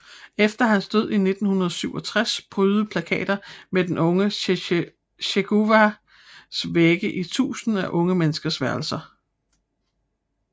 Efter hans død i 1967 prydede plakater med den unge Che Guevara vægge i tusinder af unge menneskers værelser